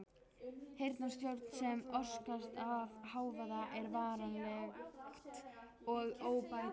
Heyrnartjón sem orsakast af hávaða er varanlegt og óbætanlegt.